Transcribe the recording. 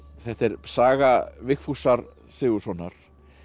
þetta er saga Vigfúsar Sigurðssonar